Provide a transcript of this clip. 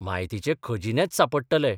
म्हायतीचे खजिनेच सापडटले.